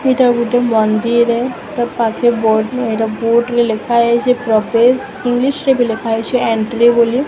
ଏଇଟା ଗୋଟେ ମନ୍ଦିରେ ତା ପାଖେ ବୋଟ୍ ଏଇଟା ବୋଟ୍ ରେ ଲେଖା ହେଇଛେ ପ୍ରବେଶ ଇଂଲିଶ ରେ ବି ଲେଖା ଯାଇଛି ଏଣ୍ଟି ବୋଲି।